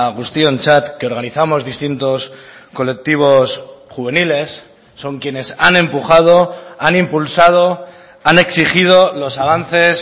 guztiontzat que organizamos distintos colectivos juveniles son quienes han empujado han impulsado han exigido los avances